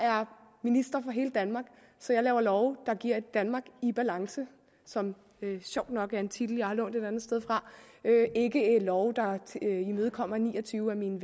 minister for hele danmark så jeg laver love der giver et danmark i balance som sjovt nok er en titel jeg har lånt et andet sted fra ikke love der imødekommer ni og tyve af mine